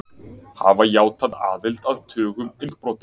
Hafa játað aðild að tugum innbrota